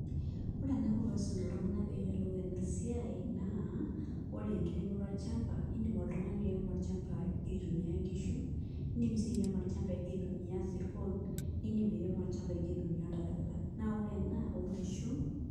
Ore enaiko pee aisum iltung'anak pee eyiolou ena siai naa ore enkiremoto olchamba iindim oltung'ani airemo olchamba igira aitumia nkishu, indim sii airemo olchamba igira aitumia isirkon niindim airemo olchamba igira aitumia oltarakita naa ore ena oonkishu.